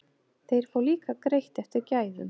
Þeir fá líka greitt eftir gæðum.